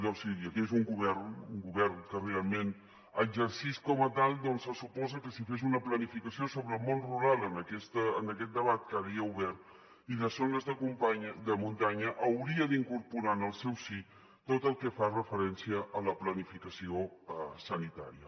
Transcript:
jo si hi hagués un govern un govern que realment exercís com a tal doncs se suposa que si fes una planificació sobre el món rural en aquest debat que ara hi ha obert i de zones de muntanya hauria d’incorporar en el seu si tot el que fa referència a la planificació sanitària